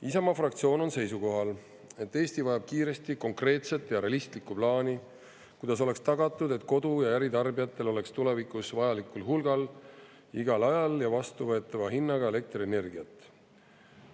Isamaa fraktsioon on seisukohal, et Eesti vajab kiiresti konkreetset ja realistlikku plaani, kuidas oleks tagatud, et kodu‑ ja äritarbijatel oleks tulevikus vajalikul hulgal igal ajal ja vastuvõetava hinnaga elektrienergiat.